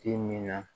Ti min na